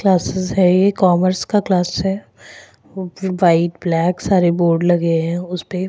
classes हैं ये commerce का क्लास हैं व्हाइट ब्लॅक सारे बोर्ड लगे हैं उसपे --